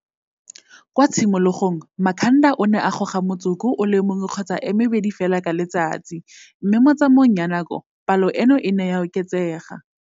Kwa tshimologong Makhanda o ne a goga motsoko o le mong kgotsa e mebedi fela ka letsatsi, mme mo tsamaong ya nako palo eno e ne ya oketsega.